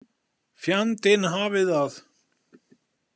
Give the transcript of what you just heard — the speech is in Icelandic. Fjandinn hafi það.